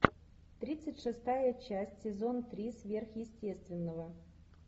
тридцать шестая часть сезон три сверхъестественного